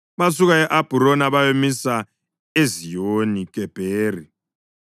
Basuka e-Abhurona bayamisa e-Eziyoni-Gebheri.